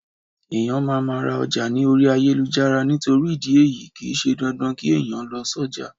Eyan maa ma ra oja ni ori ayelujara nitori idi eyii, kii se dandan ki eniyan lo si oja